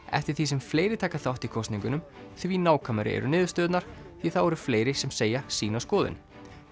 eftir því sem fleiri taka þátt í kosningunum því nákvæmari eru niðurstöðurnar því þá eru fleiri sem segja sína skoðun